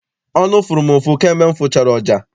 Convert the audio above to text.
Ọnụ fụrụ m ụfụ kamgbe m fụchara ọja.